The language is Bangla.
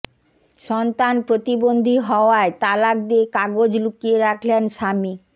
সন্তান প্রতিবন্ধী হওয়ায় তালাক দিয়ে কাগজ লুকিয়ে রাখলেন স্বামী